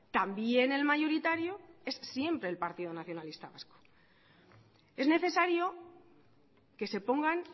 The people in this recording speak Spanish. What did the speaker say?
también el mayoritario es siempre el partido nacionalista vasco es necesario que se pongan